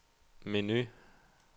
menu